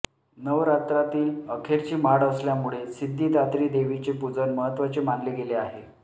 नवरात्रातील अखेरची माळ असल्यामुळे सिद्धिदात्री देवीचे पूजन महत्त्वाचे मानले गेले आहे